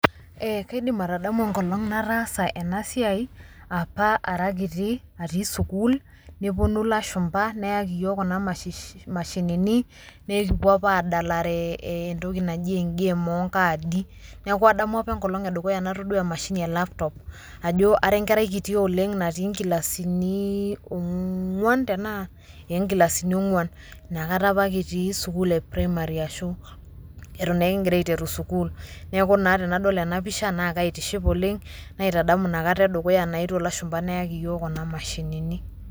Yes i can remember the days i did this as a kid when i was in school when some foreigners came and brought us laptops and we use to play a game of cards in them so i remember the first day i saw a laptop because i was a kid in class four in primary school when we were starting school so when i see this picture i am happy because i am reminded of that day those foreigners came and brought us this machines.